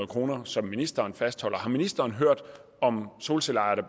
kr som ministeren fastholder har ministeren hørt om solcelleejere der